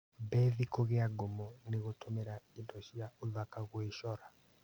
Bethi kũgĩa ngumo nĩ gũtũmĩra indo cia ũthaka gwĩcora.